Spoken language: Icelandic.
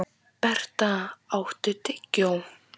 Berta, áttu tyggjó?